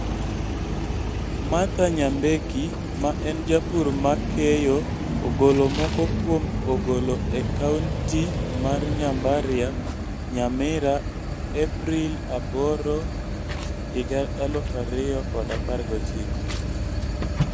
Martha Nyambeki ma en japur ma keyo ogolo moko kuom ogolo e Kaunti mar Nyambaria Nyamira April 8, 2019